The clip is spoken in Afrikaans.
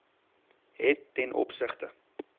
het ten opsigte